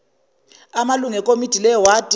amalungu ekomiti lewadi